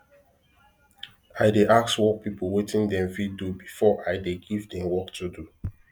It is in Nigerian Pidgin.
i dey ask work people watin them fit do befor i de give them work to do